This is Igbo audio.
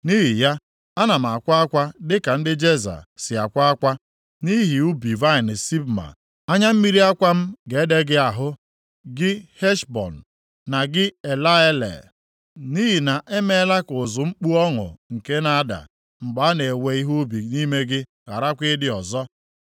Nʼihi ya, ana m akwa akwa dị ka ndị Jeza + 16:9 \+xt Aịz 15:4\+xt* si akwa akwa nʼihi ubi vaịnị Sibma. Anya mmiri akwa m ga-ede gị ahụ gị Heshbọn, na gị Eleale, + 16:9 \+xt Ọnụ 32:3; Jer 48:34\+xt* nʼihi na e meela ka ụzụ mkpu ọṅụ nke na-ada mgbe a na-ewe ihe ubi nʼime gị gharakwa ịdị ọzọ.